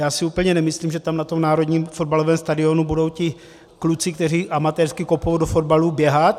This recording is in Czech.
Já si úplně nemyslím, že tam na tom národním fotbalovém stadionu budou ti kluci, kteří amatérsky kopou, do fotbalu běhat.